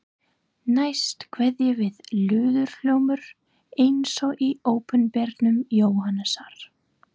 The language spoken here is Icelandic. Næst kveður við lúðurhljómur eins og í Opinberun Jóhannesar